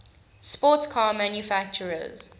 sports car manufacturers